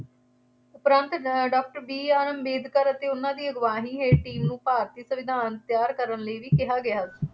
ਉਪਰੰਤ ਅਹ doctor BR Ambedkar ਅਤੇ ਉਹਨਾ ਦੀ ਅਗਵਾਈ ਹੇਠ ਟੀਮ ਨੂੰ ਭਾਰਤੀ ਸੰਵਿਧਾਨ ਤਿਆਰ ਕਰਨ ਲਈ ਵੀ ਕਿਹਾ ਗਿਆ ਸੀ।